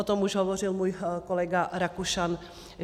O tom už hovořil můj kolega Rakušan.